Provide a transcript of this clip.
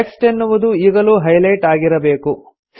text ಎನ್ನುವುದು ಈಗಲೂ highlight ಆಗಿರಬೇಕು